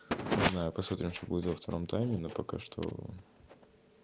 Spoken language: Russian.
не знаю посмотрим что будет во втором тайме но пока что